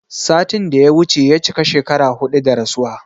Satin da ya wuce ya cika shekara huɗu da rasuwa